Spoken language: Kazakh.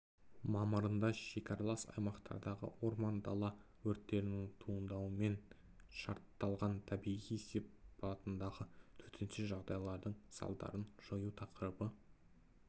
мамырында шекаралас аумақтардағы орман дала өрттерінің туындауымен шартталған табиғи сипатындағы төтенше жағдайлардың салдарын жою тақырыбы